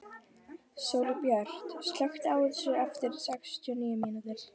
Sólbjört, slökktu á þessu eftir sextíu og níu mínútur.